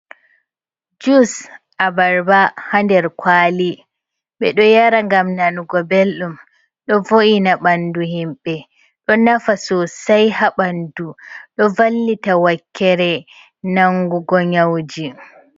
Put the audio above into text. Jus a barba hader kwali. Be do yara gam nanugo beldum, ɗo vo’ina bandu himbe ɗo nafa sosei habandu, ɗo vallita wakkere nangugo nyauji.